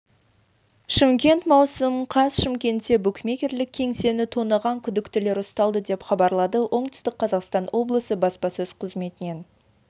шымкент маусым қаз шымкентте букмекерлік кеңсені тонаған күдіктілер ұсталды деп хабарлады оңтүстік қазақстан облысы баспасөз қызметінен